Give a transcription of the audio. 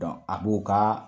Dɔnku a b'o ka